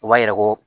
O b'a yira ko